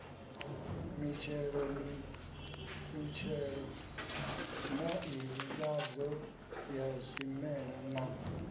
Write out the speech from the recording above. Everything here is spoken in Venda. mitshelo nḓivhadzo ya zwimela na